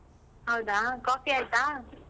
ಹೌದಾ coffee ಆಯ್ತಾ?